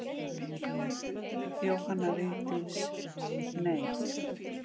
Jóhanna Vigdís: Nei.